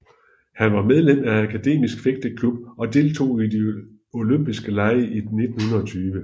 Han var medlem af Akademisk Fægteklub og deltog i de Olympiske Lege i 1920